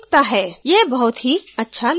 यह बहुत ही अच्छा लग रहा है